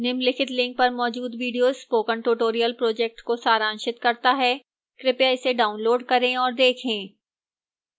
निम्नलिखित link पर मौजूद video spoken tutorial project को सारांशित करता है कृपया इसे डाउनलोड करें और देखें